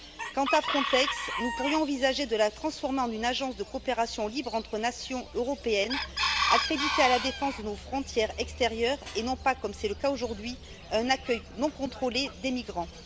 Quant à Frontex, nous pourrions envisager de la transformer en une agence de coopération libre entre nations européennes accrédités à la défense de nos frontières extérieures et non pas, comme c'est le cas aujourd'hui, un accueil non contrôlé des migrants.